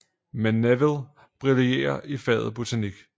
Men Neville brillerer i faget botanik